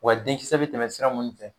Wa denkisɛ be tɛmɛ sira mun fɛ